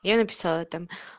я написала там